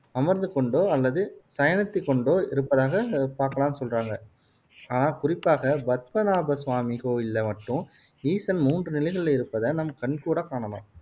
அமர்ந்து கொண்டோ அல்லது சயனித்துக் கொண்டோ இருப்பதை பாக்கலாம்னு சொல்றாங்க. ஆனால் குறிப்பாக பத்மநாபசுவாமி கோவிலில மட்டும் ஈசன் மூன்று நிலைகளிலும் இருப்பதை நம் கண்கூடாக் காணலாம்.